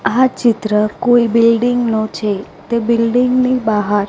આ ચિત્ર કોઇ બિલ્ડીંગ નુ છે તે બિલ્ડીંગ ની બાહાર--